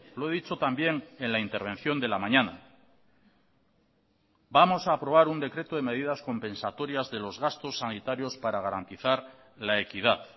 lo he dicho también en la intervención de la mañana vamos a aprobar un decreto de medidas compensatorias de los gastos sanitarios para garantizar la equidad